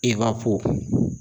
Ewapo